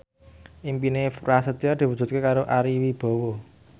impine Prasetyo diwujudke karo Ari Wibowo